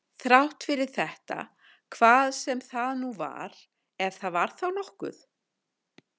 Þrátt fyrir þetta hvað sem það nú var, ef það var þá nokkuð.